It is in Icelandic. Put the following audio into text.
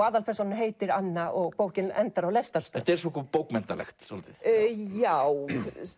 aðalpersónan heitir Anna og bókin endar á lestarstöð þetta er bókmenntalegt svolítið já